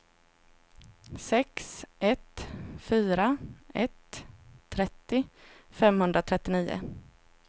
sex ett fyra ett trettio femhundratrettionio